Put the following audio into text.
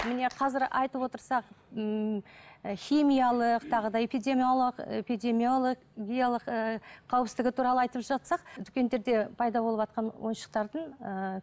міне қазір айтып отырсақ ммм і химиялық тағы да эпидемиологиялық ііі қауіпсіздігі туралы айтып жатсақ дүкендерде пайда болыватқан ойыншықтардың ыыы